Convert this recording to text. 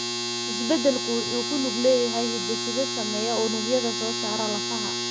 Isbeddelku wuxuu ku lug leeyahay hidde-side saameeya unugyada soo saara lafaha.